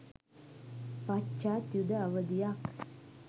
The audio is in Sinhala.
පශ්චාත් යුධ අවධියක්.